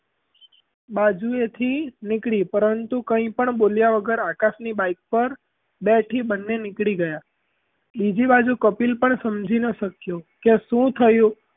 બાજુએથી નીકળી પરંતુ કાંઇ પણ બોલ્યા વગર આકાશ ની bike પર બેઠી બન્ને નીકળી ગયાં બીજી બાજુ કપિલ પણ સમજી ના શક્યો, કે શું થયું?